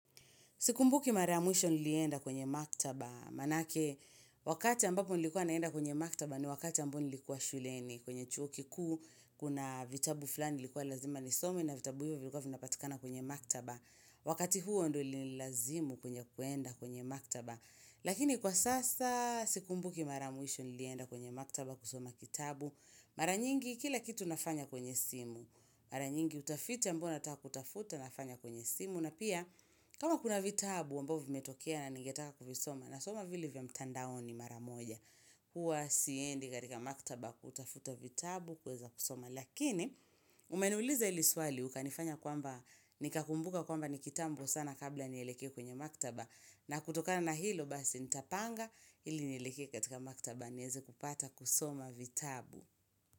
Sikumbuki mara ya mwisho nilienda kwenye maktaba. Maanake, wakati ambapo nilikuwa naenda kwenye maktaba ni wakati ambayo nilikuwa shuleni. Kwenye chuo kikuu, kuna vitabu fulani nilikuwa lazima nisome na vitabu hivyo vilikuwa vinapatikana kwenye maktaba. Wakati huo ndio ilinilazimu kuenda kwenye maktaba. Lakini kwa sasa, sikumbuki maramwisho nilienda kwenye maktaba kusoma kitabu. Mara nyingi, kila kitu nafanya kwenye simu. Mara nyingi, utafiti ambayo nataka kutafuta nafanya kwenye simu. Na pia kama kuna vitabu ambavyo vimetokea na ningetaka kuvisoma nasoma vile vya mtandao ni mara moja. Huwa siendi katika maktaba kutafuta vitabu kuweza kusoma. Lakini umeniuliza hili swali ukanifanya kwamba nikakumbuka kwamba ni kitambo sana kabla nieleke kwenye maktaba. Na kutokana na hilo basi nitapanga ili nieleke katika maktaba nieze kupata kusoma vitabu.